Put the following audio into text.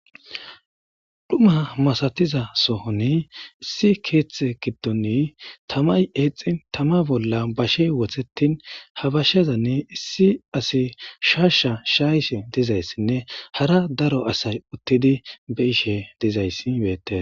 Xuma masathiza sohoni issi keeththee giddomi thamay eexxin thamaa bolla bashee wotheththin ha bashezani issi asi shaashshaa shaayishin dizayssinne hara daro asay uththidi be7ishee dizayssi beeththees.